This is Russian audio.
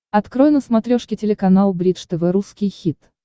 открой на смотрешке телеканал бридж тв русский хит